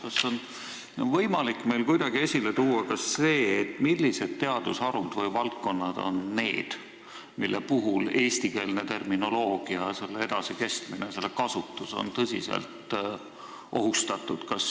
Kas meil on võimalik kuidagi esile tuua ka seda, milliste teadusharude või -valdkondade puhul on eestikeelne terminoloogia, selle edasikestmine ja kasutus, tõsiselt ohustatud?